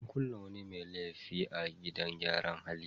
An kulle wani mai laifi a gidan gyaran hali.